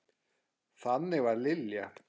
Þannig var Lilja.